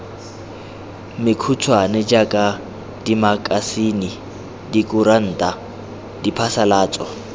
mekhutshwane jaaka dimakasine dikuranta diphasalatso